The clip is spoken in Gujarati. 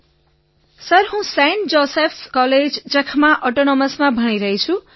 વિનોલેકિસો સર હું સેન્ટ જૉસેફ્સ કૉલેજ જાખાના ઑટોનોમસમાં ભણી રહ્યો છું